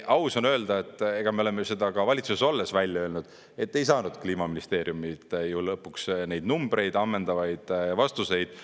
Aus on öelda, et me oleme ju seda ka valitsuses olles välja öelnud, et ei saanud Kliimaministeeriumilt ju lõpuks neid numbreid, ammendavaid vastuseid.